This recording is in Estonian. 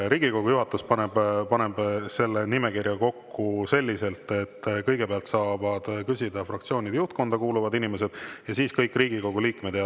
Riigikogu juhatus paneb selle nimekirja kokku selliselt, et kõigepealt saavad küsida fraktsioonide juhtkonda kuuluvad inimesed ja siis kõik Riigikogu liikmed.